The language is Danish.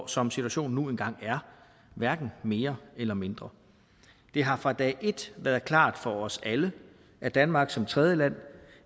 som situationen nu engang er hverken mere eller mindre det har fra dag et været klart for os alle at danmark som tredjeland